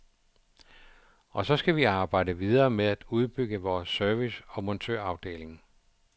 Og så skal vi arbejde videre med at udbygge vores service og montørafdeling.